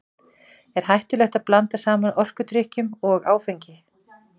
Er hættulegt að blanda saman orkudrykkjum og áfengi?